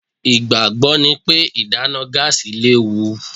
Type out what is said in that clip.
Ìgbàgbọ́ ni pé ìdáná gáàsì léwu.